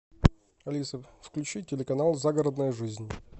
алиса включи телеканал загородная жизнь